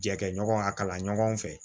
Jɛkɛ ɲɔgɔn a kalan ɲɔgɔn fɛ